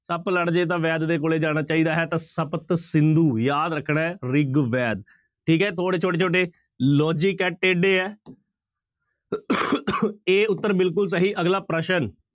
ਸੱਪ ਲੜ ਜਾਏ ਤਾਂ ਵੈਦ ਦੇ ਕੋਲੇ ਜਾਣਾ ਚਾਹੀਦਾ ਹੈ ਤਾਂ ਸਪਤ ਸਿੰਧੂ ਯਾਦ ਰੱਖਣਾ ਹੈ ਰਿਗਵੈਦ, ਠੀਕ ਹੈ ਥੋੜ੍ਹੇ ਛੋਟੇ ਛੋਟੇ logic ਹੈ ਟੇਢੇ ਹੈ a ਉੱਤਰ ਬਿਲਕੁਲ ਸਹੀ ਅਗਲਾ ਪ੍ਰਸ਼ਨ